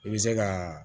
I bɛ se ka